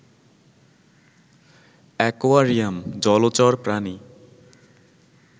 aquarium, জলচর প্রাণী